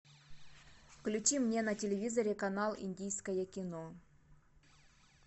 включи мне на телевизоре канал индийское кино